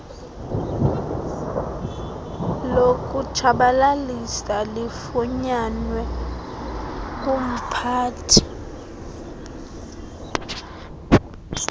lokutshabalalisa lifunyanwe kumphathi